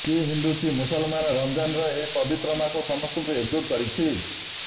କି ହିନ୍ଦୁ କି ମୁସଲମାନ୍ ରମଜାନର ଏହି ପବିତ୍ର ମାସ ସମସ୍ତଙ୍କୁ ଏକଜୁଟ୍ କରିଛି